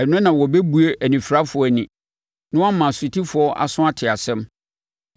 Ɛno na wɔbɛbue anifirafoɔ ani, na wɔama asotifoɔ aso ate asɛm.